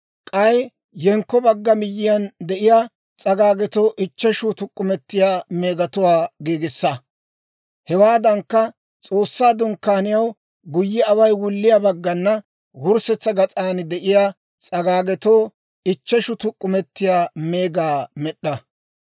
k'ay yenkko bagga miyyiyaan de'iyaa s'agaagetoo ichcheshu tuk'k'umetiyaa meegatuwaa giigissa. Hewaadankka, S'oossaa Dunkkaaniyaw guyye away wulliyaa baggana wurssetsa gas'an de'iyaa s'agaagetoo ichcheshu tuk'k'umetiyaa meegaa med'd'a.